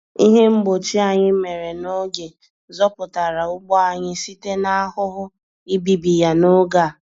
Ihe mgbochi anyị mèrè n'oge zọpụtara ugbo anyị site n'ahụhụ ibibi ya n'oge a.